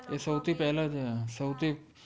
એ સૌ થિ પેહલા જ